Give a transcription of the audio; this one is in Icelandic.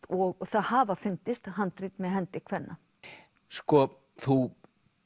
og það hafa fundist handrit með hendi kvenna sko þú